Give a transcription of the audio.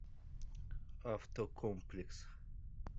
автокомплекс